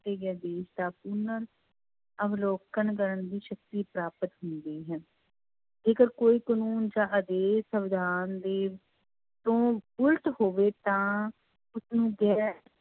ਆਦੇਸ਼ ਦਾ ਪੁਨਰ ਅਵਲੋਕਨ ਕਰਨ ਦੀ ਸ਼ਕਤੀ ਪ੍ਰਾਪਤ ਹੁੰਦੀ ਹੈ ਜੇਕਰ ਕੋਈ ਕਾਨੂੰਨ ਜਾਂ ਅਜਿਹੇ ਸਵਿਧਾਨ ਦੇ ਤੋਂ ਉਲਟ ਹੋਵੇ ਤਾਂ ਉਸਨੂੰ ਗੈਰ